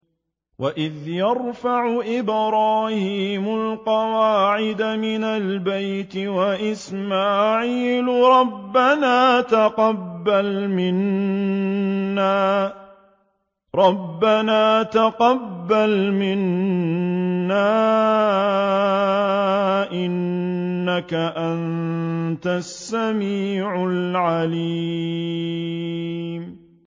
وَإِذْ يَرْفَعُ إِبْرَاهِيمُ الْقَوَاعِدَ مِنَ الْبَيْتِ وَإِسْمَاعِيلُ رَبَّنَا تَقَبَّلْ مِنَّا ۖ إِنَّكَ أَنتَ السَّمِيعُ الْعَلِيمُ